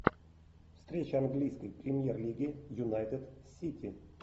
встреча английской премьер лиги юнайтед сити